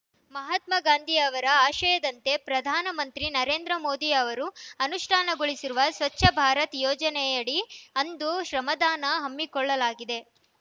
ಮಹಾತ್ಮಗಾಂಧಿ ಅವರ ಆಶಯದಂತೆ ಪ್ರಧಾನಮಂತ್ರಿ ನರೇಂದ್ರ ಮೋದಿ ಅವರು ಅನುಷ್ಠಾನಗೊಳಿಸಿರುವ ಸ್ವಚ್ಛ ಭಾರತ್‌ ಯೋಜನೆಯಡಿ ಅಂದು ಶ್ರಮದಾನ ಹಮ್ಮಿಕೊಳ್ಳಲಾಗಿದೆ